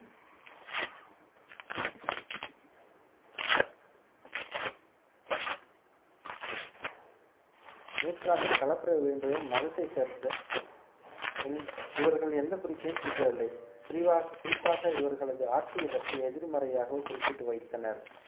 நூற்றாண்டில் களப்பிரர் வீழ்ந்தையும் மதத்தை சேர்ந்த இவர்கள் எந்த குறிப்பையும் குறிப்பிடவில்லை குறிவா~ குறிப்பாக இவர்களது ஆட்சியை பற்றி எதிர்மறையாகவோ குறிப்பிட்டு வைத்தனர்